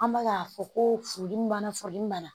An bɛ ka fɔ ko furudimi b'an na, furudimi b'an na